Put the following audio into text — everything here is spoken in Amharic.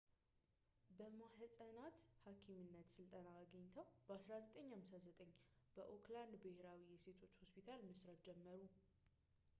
በማኅፀናት ሐኪምነት ሥልጠና አግኝተው በ 1959 በኦክላንድ ብሔራዊ የሴቶች ሆስፒታል መሥራት ጀመሩ